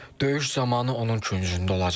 Döyüş zamanı onun küncündə olacam.